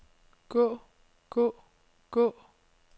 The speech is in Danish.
gå gå gå